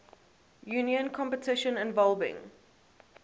union competition involving